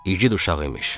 İgid uşaq imiş.